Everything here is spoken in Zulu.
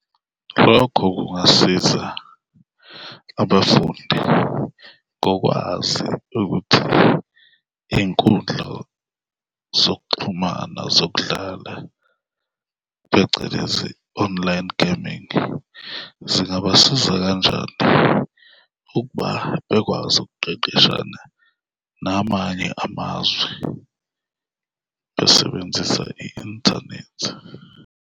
Lokho kungasiza abafundi ngokwazi ukuthi iy'nkundla zokuxhumana zokudlala, phecelezi online gaming, zingabasiza kanjani ukuba bekwazi ukuqeqeshana namanye amazwe, besebenzisa i-inthanethi.